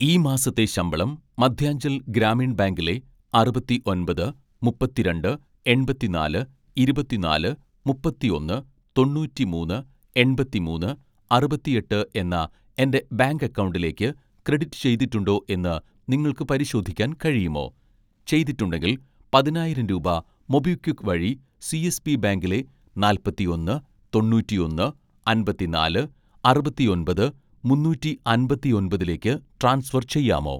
ഈ മാസത്തെ ശമ്പളം മദ്ധ്യാഞ്ചൽ ഗ്രാമീൺ ബാങ്കിലെ അറുപത്തിഒന്‍പത് മുപ്പത്തിരണ്ട് എണ്‍പത്തിനാല് ഇരുപത്തിനാല് മുപ്പത്തിഒന്ന് തൊണ്ണൂറ്റിമൂന്ന് എണ്‍പത്തിമൂന്ന് അറുപത്തിഎട്ട് എന്ന എൻ്റെ ബാങ്ക് അക്കൗണ്ടിലേക്ക് ക്രെഡിറ്റ് ചെയ്തിട്ടുണ്ടോ എന്ന് നിങ്ങൾക്ക് പരിശോധിക്കാൻ കഴിയുമോ, ചെയ്തിട്ടുണ്ടെങ്കിൽ പതിനായിരം രൂപ മൊബിക്വിക്ക് വഴി സി.എസ്.ബി ബാങ്കിലെ നാല്‍പത്തിഒന്ന് തൊണ്ണൂറ്റിഒന്ന് അമ്പത്തിനാല് അറുപത്തിഒന്‍പത് മുന്നൂറ്റി അമ്പത്തിഒന്‍പതിലേക്ക് ട്രാൻസ്ഫർ ചെയ്യാമോ?